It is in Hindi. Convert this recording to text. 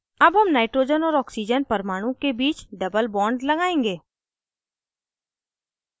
अब हम nitrogen और oxygen परमाणु के बीच double bond लगाएंगे